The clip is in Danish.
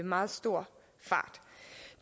meget stor fart